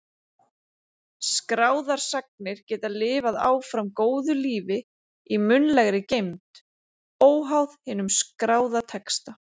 Skráðar sagnir geta lifað áfram góðu lífi í munnlegri geymd, óháð hinum skráða texta.